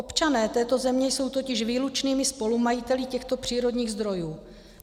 Občané této země jsou totiž výlučnými spolumajiteli těchto přírodních zdrojů.